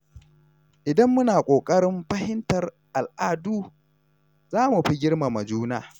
Idan muna kokarin fahimtar al’adu, za mu fi girmama juna.